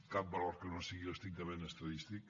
cap valor que no sigui l’estrictament estadístic